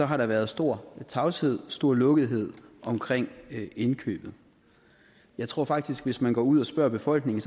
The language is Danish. har der været stor tavshed stor lukkethed omkring indkøbet jeg tror faktisk at hvis man går ud og spørger befolkningen